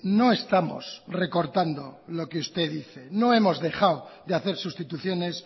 no estamos recortando lo que usted dice no hemos dejado de hacer sustituciones